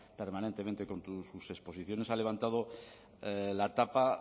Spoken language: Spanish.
permanentemente con sus exposiciones ha levantado la tapa